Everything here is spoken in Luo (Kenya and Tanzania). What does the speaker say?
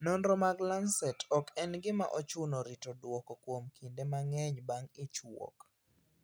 Nonro mag Lancet: Ok en gima ochuno rito duoko kuom kinde mang`eny bang` ich wuok.